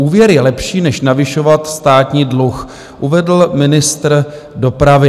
Úvěr je lepší než navyšovat státní dluh, uvedl ministr dopravy.